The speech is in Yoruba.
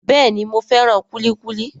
Bẹ́ẹ̀ni, mo fẹ́ràn kúlíkúlí